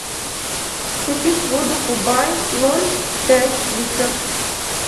купить воду кубай ноль пять литров